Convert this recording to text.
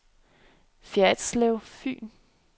Ferritslev Fyn